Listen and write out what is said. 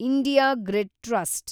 India grid trust